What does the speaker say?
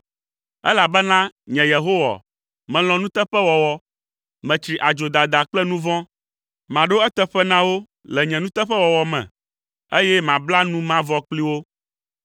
“Elabena nye Yehowa, melɔ̃ nuteƒewɔwɔ. Metsri adzodada kple nu vɔ̃. Maɖo eteƒe na wo le nye nuteƒewɔwɔ me, eye mabla nu mavɔ kpli wo.